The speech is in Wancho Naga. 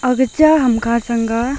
aga cha ham kha sanga.